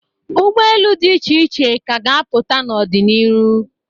Ugbaelu di iche iche ka a ga-apụta n'ọdị n'iru.